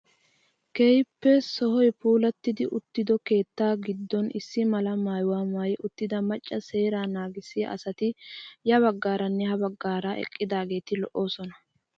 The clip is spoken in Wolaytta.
Keehippe sohoy puulatti uttido keettaa giddon issi mala maayuwaa mayi uttida macca seeraa nagissiyaa asati ya baggaaranne ha baggaara eqqidaageti lo"oosona.